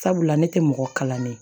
Sabula ne tɛ mɔgɔ kalannen ye